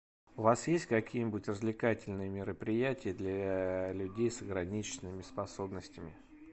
у вас есть какие нибудь развлекательные мероприятия для людей с ограниченными способностями